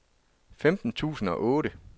femten tusind og otte